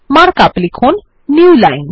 mark up লিখুন Newline